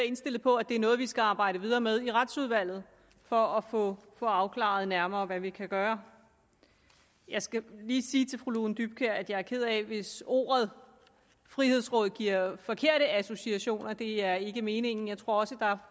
indstillet på at det er noget vi skal arbejde videre med i retsudvalget for at få afklaret nærmere hvad vi kan gøre jeg skal lige sige til fru lone dybkjær at jeg er ked af hvis ordet frihedsråd giver forkerte associationer for det er ikke meningen jeg tror